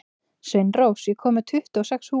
Sveinrós, ég kom með tuttugu og sex húfur!